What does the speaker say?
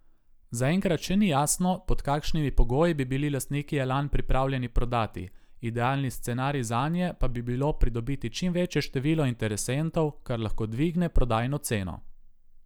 Zaenkrat še ni jasno, pod kakšnimi pogoji bi bili lastniki Elan pripravljeni prodati, idealni scenarij zanje pa bi bilo pridobiti čim večje število interesentov, kar lahko dvigne prodajno ceno.